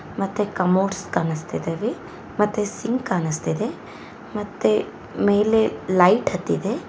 ಮತ್ತೆ ಕಮೋಡ್ಸ್ ಕಾಣಿಸ್ತಿದವೆಮತ್ತೆ ಸಿಂಕ್ ಕಾಣಿಸ್ತಿದೆ ಮತ್ತೆ ಮೇಲೆ ಲೈಟ್ ಹತ್ತಿದೆ.